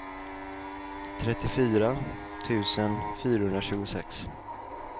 trettiofyra tusen fyrahundratjugosex